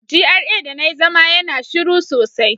GRA da na yi zama yana shiru sosai.